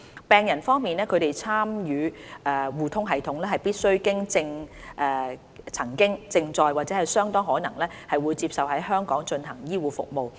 病人方面，他們參與互通系統，必須曾經、正在或相當可能會接受在香港進行的醫護服務。